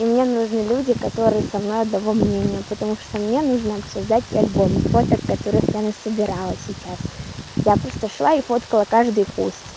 и мне нужны люди которые со мной одного мнения потому что мне нужно обсуждать пять новых фоток которых я насобирала сейчас я просто шла и фоткала каждый куст